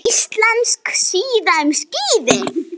Íslensk síða um skíði